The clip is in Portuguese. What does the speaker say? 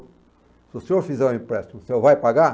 Se o senhor fizer um empréstimo, o senhor vai pagar?